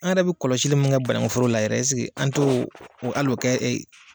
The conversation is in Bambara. An yɛrɛ bi kɔlɔsi min kɛ banakuforo la yɛrɛ an t'o al'o kɛ